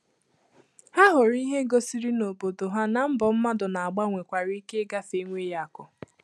Ha hụrụ ìhè gosiri n’obodo ha na mbọ mmadụ na agba nwekwara ike igafe enweghị akụ̀.